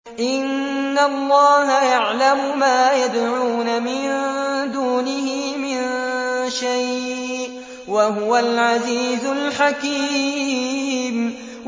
إِنَّ اللَّهَ يَعْلَمُ مَا يَدْعُونَ مِن دُونِهِ مِن شَيْءٍ ۚ وَهُوَ الْعَزِيزُ الْحَكِيمُ